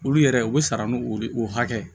Olu yɛrɛ u bɛ sara n'u o hakɛ